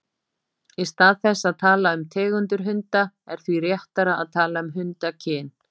Í stað þess að tala um tegundir hunda er því réttara að tala um hundakyn.